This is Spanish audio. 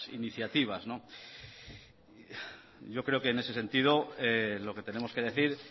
iniciativa yo creo que en este sentido lo que tenemos que decir